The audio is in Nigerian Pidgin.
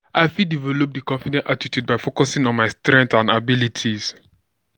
i fit develop di confident attitude by focusing on my strengths and abilities.